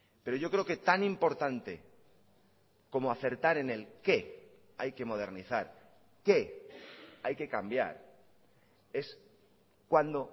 pero yo creo que tan importante como acertar en el qué hay que modernizar qué hay que cambiar es cuándo